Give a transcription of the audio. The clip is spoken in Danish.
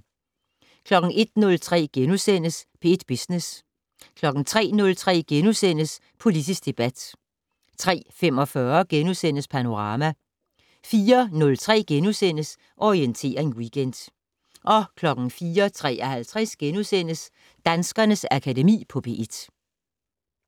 01:03: P1 Business * 03:03: Politisk debat * 03:45: Panorama * 04:03: Orientering Weekend * 04:53: Danskernes Akademi på P1 *